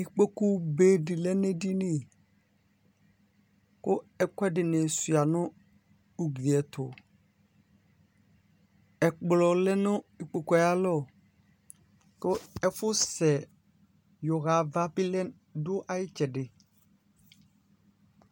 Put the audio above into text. ikpoku be di lɛ n'edini kò ɛkò ɛdini sua no ugli yɛ to ɛkplɔ lɛ no ikpokue ayi alɔ kò ɛfu sɛ yɔ ɣa ava bi lɛ du ayi itsɛdi.